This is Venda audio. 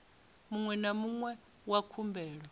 muṅwe na muṅwe wa khumbelo